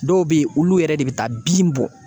Dɔw be ye olu yɛrɛ de bɛ taa bin bɔ